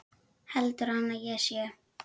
Heldur hann að ég sé.